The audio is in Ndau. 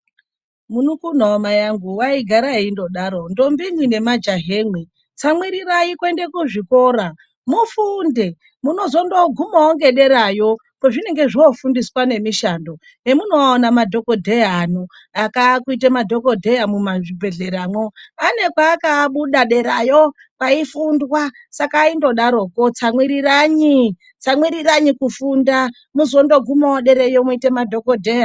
Munun'una wamai angu waigara eindodaro ndombi imwai nemajahamwi tsamwirirai kuende kuzvikora mufundo munozondogumawo nederayo kwazvinenge zvofundiswa nemishando hemunoana madhokodheya ano akaa kuite madhokodheya mumazvibhedhleramwo ane paakabuda derayo kwaifundwa saka aindodaroko tsamwiriranyi, tsamwiriranyi kufunda muzondogumawo derayo moite madhokodheya.